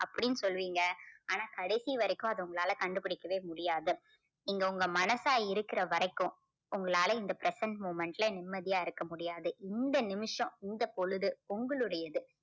அப்படின்னு சொல்லுவீங்க ஆனா கடைசி வரைக்கும் அது உங்களால கண்டுபிடிக்கவே முடியாது நீங்க உங்க மனசா இருக்கிற வரைக்கும் உங்களால இந்த present moment ல நிம்மதியா இருக்க முடியாது இந்த நிமிஷம் இந்த பொழுது உங்களுடையது